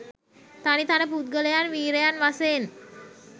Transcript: තනි තනි පුද්ගලයන් වීරයන් වසයෙන්